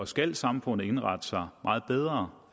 skal samfundet indrette sig meget bedre